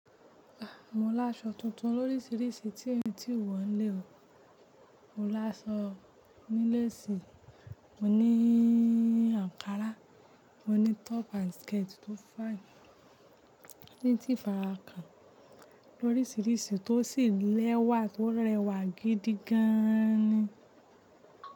A mo láṣọ tuntun lórísìíríṣìí tín tí wọ́n ń lè ọ̀. Mo láṣọ ní lace, mo ní ankara, mo ní top and skirt tó fine, ní tí ìfara kan lórísìíríṣìí tó sì lẹ́wà tó rẹwà gidi gan ni.